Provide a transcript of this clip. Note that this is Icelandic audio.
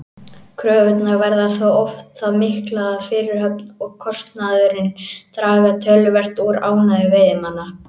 Kröfurnar verða þó oft það miklar að fyrirhöfnin og kostnaðurinn draga töluvert úr ánægju veiðimanna.